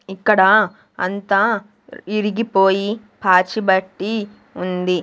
ఇక్కడ అంతా ఇరిగిపోయి పాచి బట్టి ఉంది.